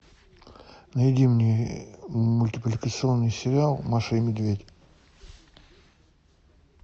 найди мне мультипликационный сериал маша и медведь